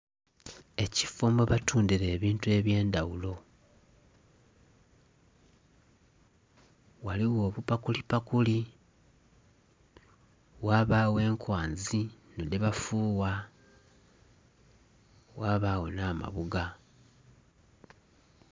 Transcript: Ekiffo mwebatundira ebintu eby'endhaghulo. Ghaligho obupakulipakuli ghabagho enkwanzi dhino dhebafuwa ghabagho n'amabuga.